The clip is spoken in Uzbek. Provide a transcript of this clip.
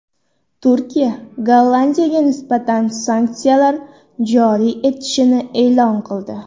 Turkiya Gollandiyaga nisbatan sanksiyalar joriy etishini e’lon qildi.